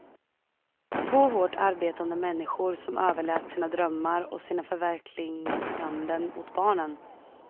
Två hårt arbetande människor som överlät sina drömmar och sina förverkliganden åt barnen.